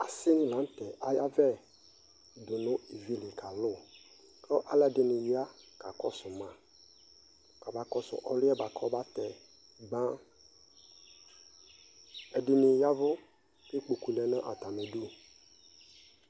Aquino lantɛ ayavɛ dʋnʋ ivlii kalʋ kʋ alʋɛdini ya kakɔsʋ ma kʋ ɔba kɔsʋ ɔlʋɛ bʋakʋ ɔbatɛ gbaan, ɛdini yavʋ kʋ ikpɔkʋ lɛnʋ atamidʋ